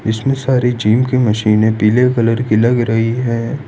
इसमें सारी जिम की मशीनें पीले कलर की लग रही है।